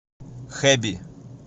хэби